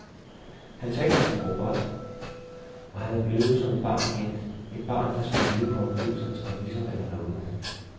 Han taler som en robot, og han er blevet som et barn igen, et barn, der skal leve på omgivelsernes præmisser eller nåde.